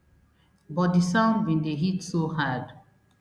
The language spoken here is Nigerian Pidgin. but di sound bin dey hit so hard